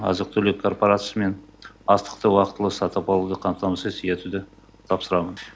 азық түлік корпорациясымен астықты уақытылы сатып алуды қамтамасыз етуді тапсырамын